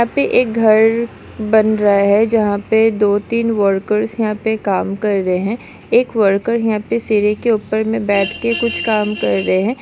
यहाँ पे एक घर बन रहा है जहाँ पे दो तीन वर्कर्स यहाँ पे काम कर रहे है एक वर्कर यहाँ पे सीढ़ी के ऊपर में बैठ कर कुछ काम कर रहे है।